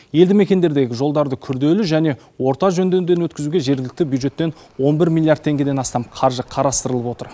елді мекендердегі жолдарды күрделі және орта жөндеуден өткізуге жергілікті бюджеттен он бір миллиард теңгеден астам қаржы қарастырылып отыр